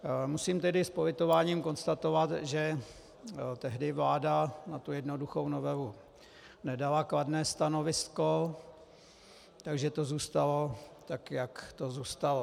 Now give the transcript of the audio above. Musím tedy s politováním konstatovat, že tehdy vláda na tu jednoduchou novelu nedala kladné stanovisko, takže to zůstalo tak, jak to zůstalo.